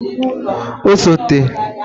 osote